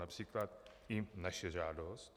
Například i naše žádost.